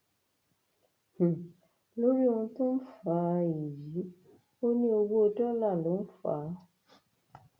um lórí ohun tó ń fà um á èyí ò ní owó dọlà ló ń fà á